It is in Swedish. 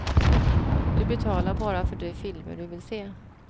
Du betalar bara för de filmer du vill se.